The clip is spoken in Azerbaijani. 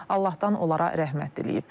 Allahdan onlara rəhmət diləyib.